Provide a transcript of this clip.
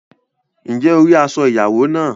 Ǹjẹ́ o rí aṣọ ìyàwó náà?